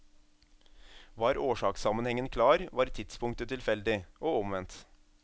Var årsakssammenhengen klar, var tidspunktet tilfeldig, og omvendt.